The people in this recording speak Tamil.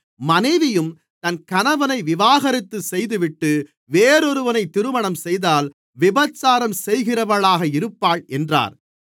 மனைவியும் தன் கணவனை விவாகரத்து செய்துவிட்டு வேறொருவனை திருமணம்செய்தால் விபசாரம் செய்கிறவளாக இருப்பாள் என்றார்